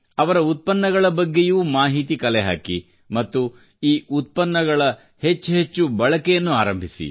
ಅವರ ಉತ್ಪನ್ನಗಳ ಬಗ್ಗೆಯೂ ಮಾಹಿತಿ ಕಲೆಹಾಕಿ ಮತ್ತು ಈ ಉತ್ಪನ್ನಗಳ ಹೆಚ್ಚೆಚ್ಚು ಬಳಕೆಯನ್ನು ಆರಂಭಿಸಿ